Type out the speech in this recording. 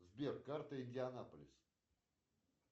сбер карта индианаполис